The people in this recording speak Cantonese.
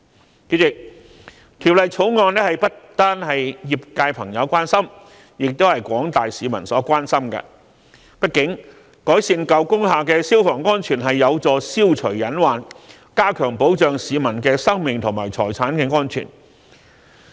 代理主席，《條例草案》不單為業界朋友所關心，也是廣大市民所關心的，畢竟改善舊工廈的消防安全有助消除隱患，加強保障市民的生命和財產安全。